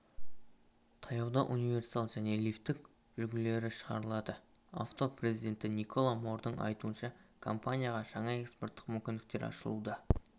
таяуда универсал және лифтбек үлгілері шығарылады авто президенті николя мордың айтуынша компанияға жаңа экспорттық мүмкіндіктер ашылуда